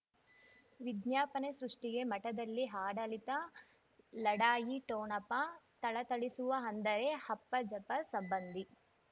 ವಿಜ್ಞಾಪನೆ ಸೃಷ್ಟಿಗೆ ಮಠದಲ್ಲಿ ಆಡಳಿತ ಲಢಾಯಿ ಠೋಣಪ ಥಳಥಳಿಸುವ ಅಂದರೆ ಅಪ್ಪ ಜಾಫರ್ ಸಂಬಂಧಿ